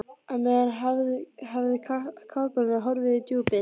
Á meðan hafði kafbáturinn horfið í djúpið.